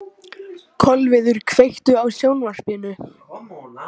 Kolviður, kveiktu á sjónvarpinu.